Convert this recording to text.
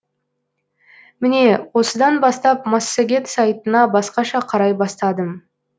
міне осыдан бастап массагет сайтына басқаша қарай бастадым